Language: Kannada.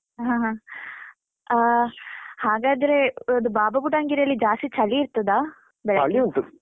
ಆ, ಹಾಗಾದ್ರೆ ಅದು ಬಾಬಾಬುಡನ್ಗಿರಿಯಲ್ಲಿ ಜಾಸ್ತಿ ಚಳಿ ಇರ್ತದ